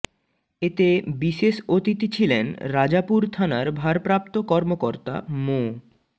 এতে বিশেষ অতিথি ছিলেন রাজাপুর থানার ভারপ্রাপ্ত কর্মকর্তা মো